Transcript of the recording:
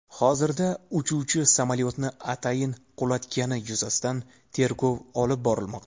Hozirda uchuvchi samolyotni atayin qulatgani yuzasidan tergov olib borilmoqda.